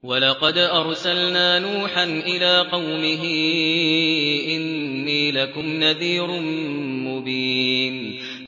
وَلَقَدْ أَرْسَلْنَا نُوحًا إِلَىٰ قَوْمِهِ إِنِّي لَكُمْ نَذِيرٌ مُّبِينٌ